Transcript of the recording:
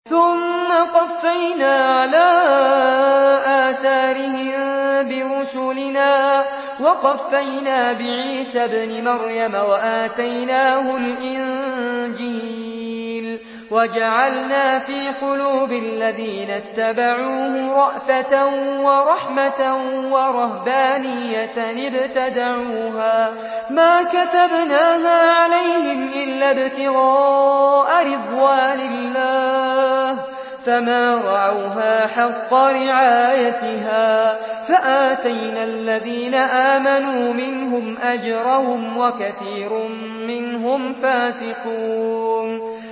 ثُمَّ قَفَّيْنَا عَلَىٰ آثَارِهِم بِرُسُلِنَا وَقَفَّيْنَا بِعِيسَى ابْنِ مَرْيَمَ وَآتَيْنَاهُ الْإِنجِيلَ وَجَعَلْنَا فِي قُلُوبِ الَّذِينَ اتَّبَعُوهُ رَأْفَةً وَرَحْمَةً وَرَهْبَانِيَّةً ابْتَدَعُوهَا مَا كَتَبْنَاهَا عَلَيْهِمْ إِلَّا ابْتِغَاءَ رِضْوَانِ اللَّهِ فَمَا رَعَوْهَا حَقَّ رِعَايَتِهَا ۖ فَآتَيْنَا الَّذِينَ آمَنُوا مِنْهُمْ أَجْرَهُمْ ۖ وَكَثِيرٌ مِّنْهُمْ فَاسِقُونَ